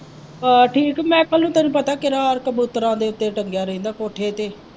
ਹਾਂ ਠੀਕ ਮਾਇਕਲ ਦਾ ਤੈਨੂੰ ਪਤਾ ਉੱਤੇ ਟੰਗਿਆ ਰਹਿੰਦਾ ਕੋਠੇ ਤੇ।